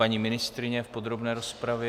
Paní ministryně v podrobné rozpravě?